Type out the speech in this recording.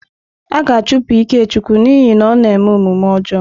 A ga-achụpụ Ikechukwu n'ihi na ọ na-eme omume ọjọọ.